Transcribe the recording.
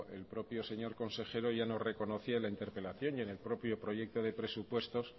el propio el señor consejero ya nos reconocía la interpelación y en el propio proyecto de presupuestos